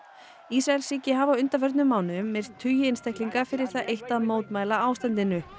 Ísraelsríki hafi á undanförnum mánuðum myrt tugi einstaklinga fyrir það eitt að mótmæla ástandinu